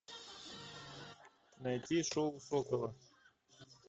найти шоу сокола